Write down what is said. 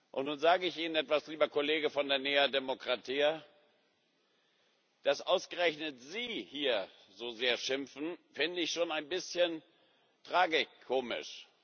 Und nun sage ich Ihnen etwas, lieber Kollege von der Nea Dimokratia Dass ausgerechnet Sie hier so sehr schimpfen, finde ich schon ein bisschen tragikomisch.